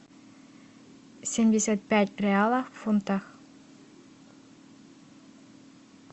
семьдесят пять реалов в фунтах